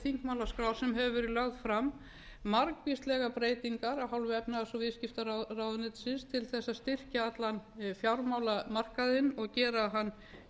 þingmálaskrá sem hefur verið lögð fram margvíslegar breytingar af hálfu efnahags og viðskiptaráðuneytisins til að styrkja allan fjármálamarkaðinn og gera hann